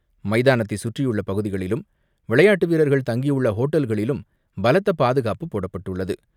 மைதானத்தை சுற்றியுள்ள பகுதிகளிலும், விளையாட்டு வீரர்கள் தங்கியுள்ள ஹோட்டல்களிலும் பலத்த பாதுகாப்பு போடப்பட்டுள்ளது.